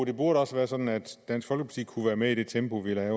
det burde også være sådan at dansk folkeparti kunne være med i det tempo vi